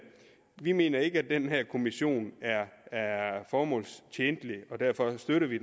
vi mener ikke at den her kommission er er formålstjenlig og derfor støtter vi